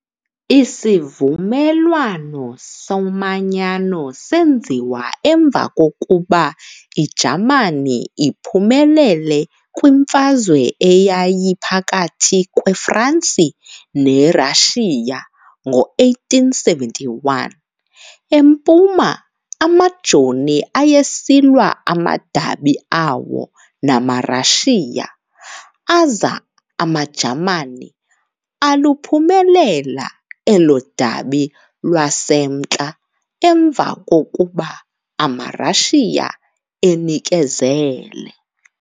Isivumelwano somanyano senziwa emva kokuba iJamani iphumelele kwiMfazwe eyayiphakathi kwe-Fransi ne-Prussia ngo-1871. Empuma amajoni ayesilwa amadabi awo namaRussia aza amaJamani aluphumelela elo dabi lwasemntla emva kokuba amaRussia enikezele.